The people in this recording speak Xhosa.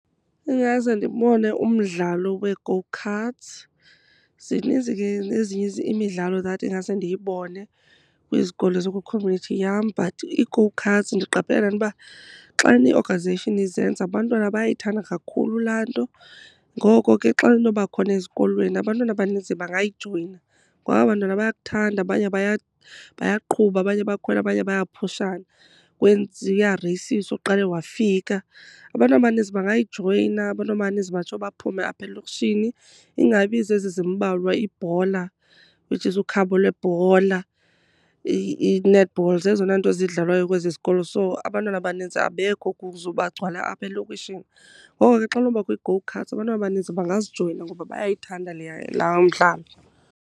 Ingase ndibone umdlalo wee-go-karts. Zininzi ke nezinye imidlalo that ingase ndiyibone kwizikolo ezikwikhomyunithi yam, but i-go-karts ndiqaphele le nto uba xana i-organization izenza abantwana bayayithanda kakhulu laa nto. Ngoko ke xa inoba khona ezikolweni abantwana abaninzi bangayijoyina. Ngoba aba bantwana bayakuthanda, abanye bayaqhuba abanye bayakhwela abanye bayaphushana, kuya reyisiswa oqale wafika. Abantu abaninzi bangayijoyina, abantu abaninzi bangatsho baphume apha elokishini. Ingabi zezi zimbalwa, iibhola which is ukhabo lwebhola, i-netball. Zezona nto zidlalwayo kwezi zikolo so abantwana abaninzi abekho kuzo bagcwala apha elokishini. Ngoko ke xa kunobakho ii-go-karts abantwana abanintsi bangazijoyina ngoba bayayithanda leya, laa mdlalo.